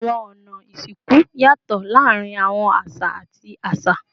Awọn ọna isinku yatọ laarin awọn aṣa ati aṣa